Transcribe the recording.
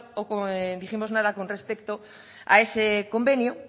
o dijimos nada con respecto a ese convenio